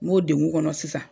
M'o dengun kɔnɔ sisan